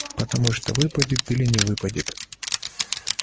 потому что выпадет или не выпадет